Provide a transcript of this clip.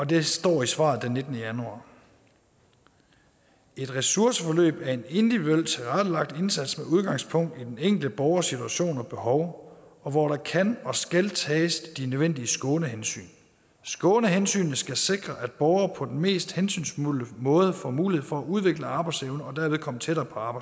der står i svaret den nittende januar et ressourceforløb er en individuelt tilrettelagt indsats med udgangspunkt i den enkelte borgers situation og behov og hvor der kan og skal tages de nødvendige skånehensyn skånehensynene skal sikre at borgere på den mest hensynsfulde måde får mulighed for at udvikle arbejdsevnen og dermed komme tættere